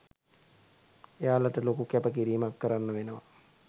එයාලට ලොකු කැප කිරීමක් කරන්න වෙනවා.